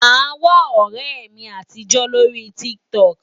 Màá wá ọ̀rẹ́ mi àtijó lórí TikTok.